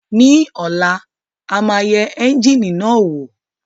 Ní ọ̀la a máa yẹ ẹ́ńjíìnì náà wò